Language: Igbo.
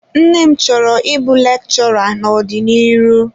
Nne m chọrọ ịbụ lekchọra n'ọdiniru.